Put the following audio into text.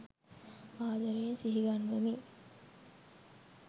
ආදරයෙන් සිහිගන්වමි